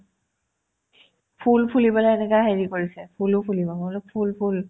ফুল ফুলি পেলাই এনেকা হেৰি কৰিছে ফুলো ফুলিব মই বোলো ফুল ফুল